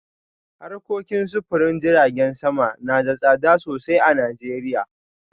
Harkokin sufurin jiragen sama na da tsada sosai a Najeriya